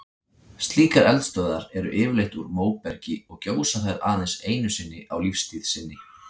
Slíkar eldstöðvar eru yfirleitt úr móbergi og gjósa þær aðeins einu sinni á lífstíð sinni.